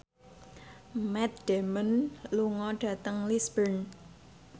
Matt Damon lunga dhateng Lisburn